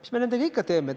Mida me nendega ikka teeme?